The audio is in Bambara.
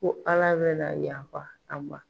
Ko ALA bɛna yafa a ma.